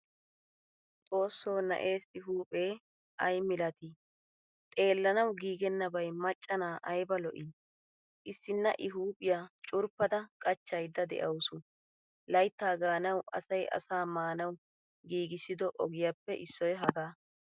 Xoosso na'essi huuphphee ay milat? Xeelanawu giigenabay macca na'aa ayba lo'i? Issina I huuphphiyaa curppada qachchayda de'awusu. Laytta gaanawu asay asaa maanawu giigisido ogiyappe issoy hagaa.